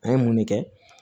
An ye mun de kɛ